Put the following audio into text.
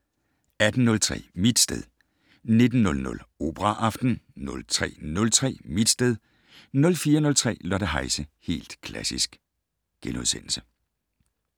18:03: Mit sted 19:00: Operaaften 03:03: Mit sted 04:03: Lotte Heise - Helt Klassisk *